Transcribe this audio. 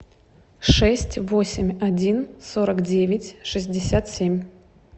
шесть восемь один сорок девять шестьдесят семь